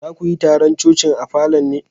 Za ku yi taron coci'n a falon ne?